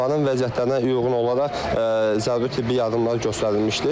Onların vəziyyətlərinə uyğun olaraq zəruri tibbi yardımlar göstərilmişdi.